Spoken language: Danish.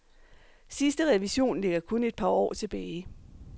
Sidste revision ligger kun et par år tilbage.